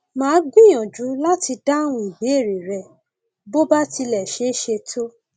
màá gbìyànjú láti dáhùn ìbéèrè rẹ bó bá ti lè ṣeé ṣe tó